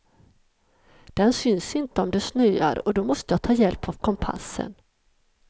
Den syns inte om det snöar och då måste jag ta hjälp av kompassen.